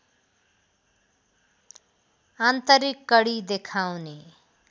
आन्तरिक कडी देखाउने